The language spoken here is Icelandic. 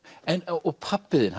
og pabbi þinn